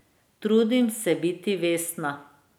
Trudim se biti vestna.